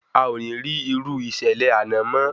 Aò ní rí irú ìṣẹ̀lẹ̀ àná mo